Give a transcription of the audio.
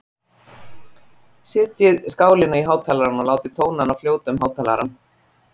Setjið skálina á hátalarann og látið tónana fljóta um hátalarann.